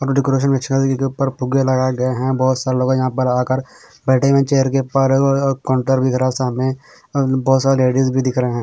Decoration में छत के ऊपर फुग्गे लगे गये हैं बहुत साल हो गये हैं यहाँ पर आ कर बैठे हुए हैं चेयर के ऊपर अ अ काउंटर भी भरा हैं सामने बहुत सारे लेडीज भी दिख रहे हैं।